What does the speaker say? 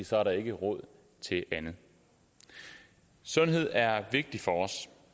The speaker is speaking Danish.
så er der ikke råd til andet sundhed er vigtigt for os